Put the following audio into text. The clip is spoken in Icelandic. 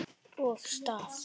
Og staf.